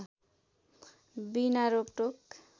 बिना रोकटोक